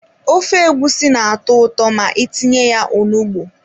Ofe egusi na-atọ ụtọ ma itinye ya onugbu.